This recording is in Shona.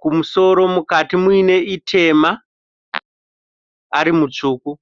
kumusoro, mukati muine itema ari mutsvuku.